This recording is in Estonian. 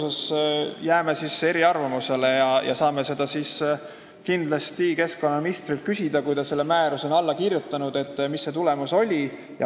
Aga jääme siis selles eriarvamusele ja me saame kindlasti keskkonnaministrilt küsida, kui ta selle määruse on alla kirjutanud, mis see tulemus oli.